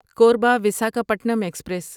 Korba Visakhapatnam express